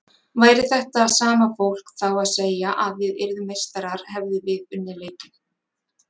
Væri þetta sama fólk þá að segja að við yrðum meistarar hefðum við unnið leikinn?